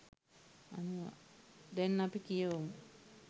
දැන් අපි කියවමු.